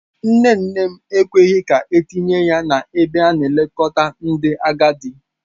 Nne nne m ekweghị ka etinye ya n'ebe a na-elekọta ndị agadi.